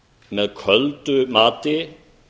með köldu mati